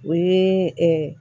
O ye